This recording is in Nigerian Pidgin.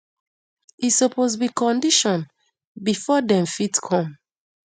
e suppose be condition before dem fit come